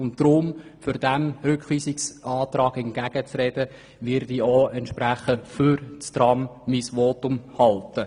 Deshalb, um dem entgegenzuhalten, werde ich mein Votum entsprechend für das Tram halten.